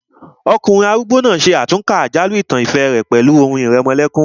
Ọkùnrin arúgbó náà ṣe àtúnkà àjálù ìtàn ìfẹ́ rẹ̀ pẹ̀lú orin ìrẹmọlẹ́kún